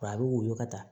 a bɛ woyo ka taa